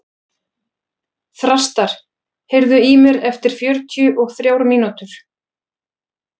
Þrastar, heyrðu í mér eftir fjörutíu og þrjár mínútur.